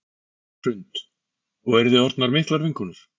Hrund: Og eruð þið orðnar miklar vinkonur?